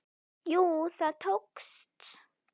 Jú, það tókst!